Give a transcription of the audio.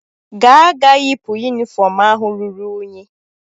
Gaa-ga yipụ yunifọọm ahụ ruru unyi?